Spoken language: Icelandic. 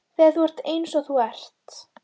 Þegar þú ert eins og þú ert.